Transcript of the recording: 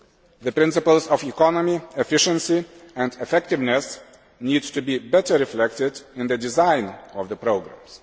The principles of economy, efficiency and effectiveness need to be better reflected in the design of the programmes.